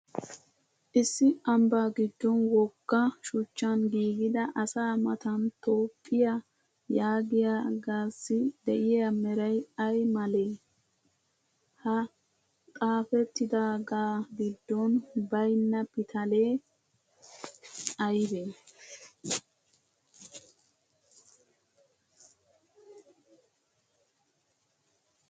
Issi ambbaa giddon wogga shuchchan giigida asaa Matan toophphiya yaagiyagaassii de'iya meray ay malee? Ha xaaphettidaagaa giddon baynna pitalee aybee?